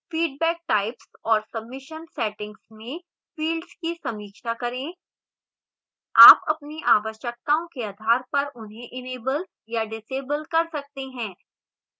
feedback types और submission settings में fields की समीक्षा करें आप अपनी आवश्यकताओं के आधार पर उन्हें enable या disable कर सकते हैं